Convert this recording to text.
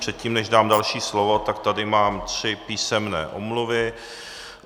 Předtím, než dám další slovo, tak tady mám tři písemné omluvy.